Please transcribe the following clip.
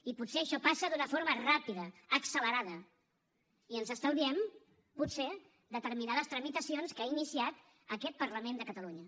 i potser això passa d’una forma ràpida accelerada i ens estalviem potser determinades tramitacions que ha iniciat aquest parlament de catalunya